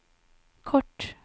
kort